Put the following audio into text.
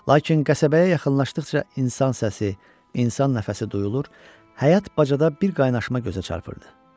Lakin qəsəbəyə yaxınlaşdıqca insan səsi, insan nəfəsi duyulur, həyat bacada bir qaynaşma gözə çarpırdı.